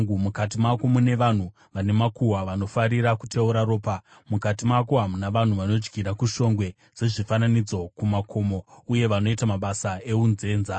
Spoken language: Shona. Mukati mako mune vanhu vane makuhwa, vanofarira kuteura ropa; mukati mako muna vanhu vanodyira kushongwe dzezvifananidzo kumakomo uye vanoita mabasa eunzenza.